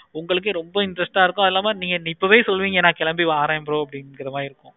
உங்களுக்கு ரொம்ப interest ஆஹ் இருக்கும். சும்மா நீங்க இப்பவே சொல்லுவீங்க bro இப்போவே கிளம்பி வரேன்னு